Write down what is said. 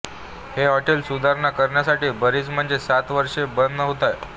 हे हॉटेल सुधारणा करण्यासाठी बरीच म्हणजे सात वर्षे बंध होते